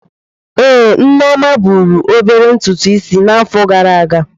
Ee, Nneoma buru obere ntùtù Ịsị n'afo gara aga.